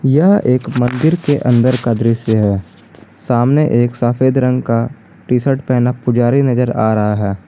यह एक मंदिर के अंदर का दृश्य है सामने एक सफेद रंग का टी-शर्ट पहनना पुजारी नजर आ रहा है।